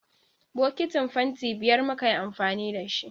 Bokitin fanti biyar muka yi amfani da shi